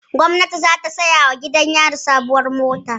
Gwamnati za ta siyawa gidan yari sabuwar mota